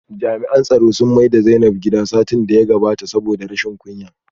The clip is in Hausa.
Jami'an tsaro sun maida Zainab gida satin da ya gabata saboda rashin kunya